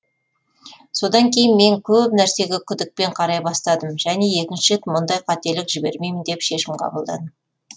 содан кейін мен көп нәрсеге күдікпен қарай бастадым және екінші рет мұндай қателік жібермеймін деп шешім қабылдадым